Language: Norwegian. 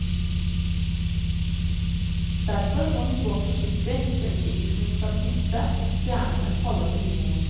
Derfor må hun gå forsiktig så ikke isen skal briste og stjernene falle til jorden.